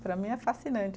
Para mim, é fascinante.